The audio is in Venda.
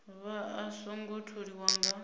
vha a songo tholiwa nga